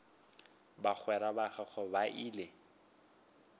bagwera ba gagwe ba ile